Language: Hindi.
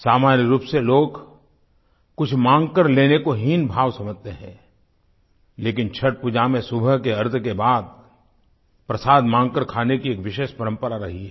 सामान्य रूप से लोग कुछ माँगकर लेने को हीनभाव समझते हैं लेकिन छठपूजा में सुबह के अर्घ्य के बाद प्रसाद मांगकर खाने की एक विशेष परम्परा रही है